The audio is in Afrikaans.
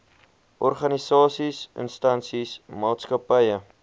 organisasies instansies maatskappye